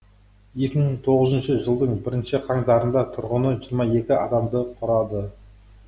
екі мың тоғызыншы жылдың бірінші қаңтарында тұрғыны жиырма екі адамды құрады